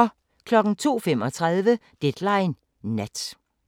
02:35: Deadline Nat